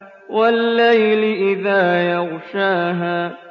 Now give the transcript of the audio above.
وَاللَّيْلِ إِذَا يَغْشَاهَا